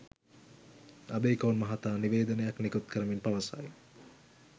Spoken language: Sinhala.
අබේකෝන් මහතා නිවේදනයක් නිකුත් කරමින් පවසයි.